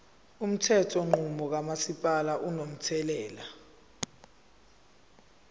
umthethonqubo kamasipala unomthelela